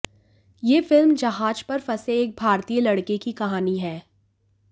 यह फिल्म जहाज पर फंसे एक भारतीय लड़के की कहानी है